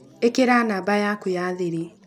Ĩkĩra namba yaku ya thiri.